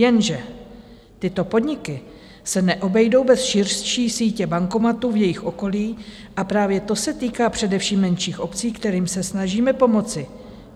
Jenže tyto podniky se neobejdou bez širší sítě bankomatů v jejich okolí a právě to se týká především menších obcí, kterým se snažíme pomoci.